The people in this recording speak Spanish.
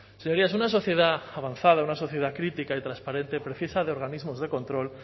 señorías una sociedad avanzada una sociedad crítica y transparente precisa de organismos de control